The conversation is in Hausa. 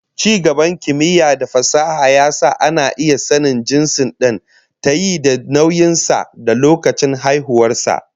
Ci gaban kimiyya da fasaha ya sa ana iya sanin jinsin dan tayi da nauyin sa da lokacin haihuwar sa